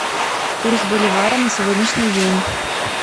курс боливара на сегодняшний день